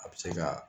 A bɛ se ka